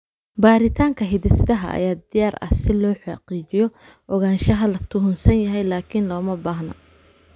Baaritaanka hidde-sidaha ayaa diyaar ah si loo xaqiijiyo ogaanshaha la tuhunsan yahay, laakiin looma baahna.